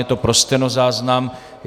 Je to pro stenozáznam.